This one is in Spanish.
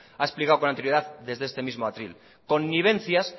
ha explicado con anterioridad desde este mismo atril convivencias